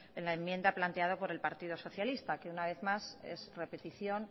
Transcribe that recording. en la enmienda planteada por el partido socialista que una vez más es repetición